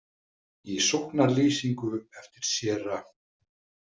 Í sóknarlýsingu eftir séra